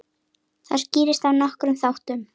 Það skýrist af nokkrum þáttum.